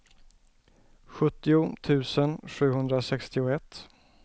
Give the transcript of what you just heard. sjuttio tusen sjuhundrasextioett